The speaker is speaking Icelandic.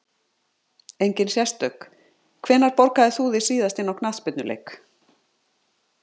Engin sérstök Hvenær borgaðir þú þig síðast inn á knattspyrnuleik?